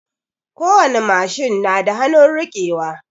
Kowani machine na da hanun rike wa